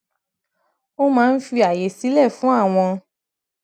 ó máa ń fi àyè sílẹ fún àwọn